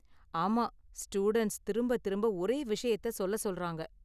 ஆமா, ஸ்டூடண்ட்ஸ் திரும்ப திரும்ப ஒரே விஷயத்த சொல்லச் சொல்றாங்க.